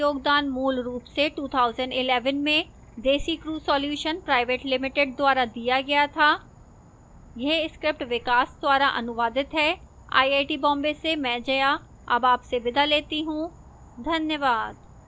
इस tutorial का योगदान मूलरूप से 2011 में desicrew solutions pvt ltd द्वारा दिया गया था यह स्क्रिप्ट विकास द्वारा अनुवादित है आईआईटी बॉम्बे से मैं जया अब आपसे विदा लेती हूं धन्यवाद